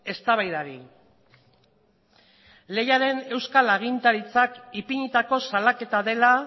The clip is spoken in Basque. eztabaidari lehiaren euskal agintaritzak ipinitako salaketa dela